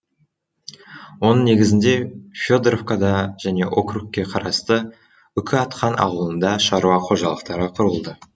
оның негізінде федоровкада және округке қарасты үкіатқан ауылында шаруа қожалықтары құрылды